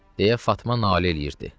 Deyə Fatma nalə eləyirdi.